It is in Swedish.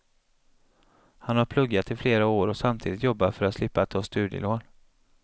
Han har pluggat i flera år och samtidigt jobbat för att slippa ta studielån.